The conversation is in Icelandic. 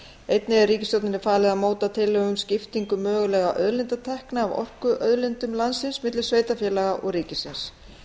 einnig er ríkisstjórninni falið að móta tillögur um skiptingu mögulegra auðlindatekna af orkuauðlindum landsins milli sveitarfélaga og ríkisins